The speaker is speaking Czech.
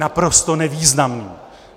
Naprosto nevýznamný!